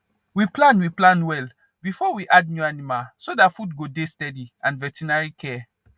we plan we plan well before we add new animal so that food go dey steady and veterinary care